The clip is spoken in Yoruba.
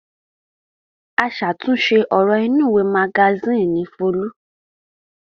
Aṣàtúnṣe ọ̀rọ̀ inúùwé magasínì ni Folú.